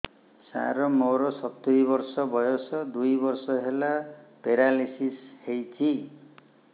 ସାର ମୋର ସତୂରୀ ବର୍ଷ ବୟସ ଦୁଇ ବର୍ଷ ହେଲା ପେରାଲିଶିଶ ହେଇଚି